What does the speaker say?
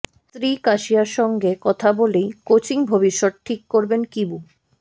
স্ত্রী কাসিয়ার সঙ্গে কথা বলেই কোচিং ভবিষ্যৎ ঠিক করবেন কিবু